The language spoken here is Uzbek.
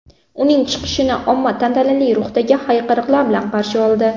Uning chiqishini omma tantanali ruhdagi hayqiriqlar bilan qarshi oldi.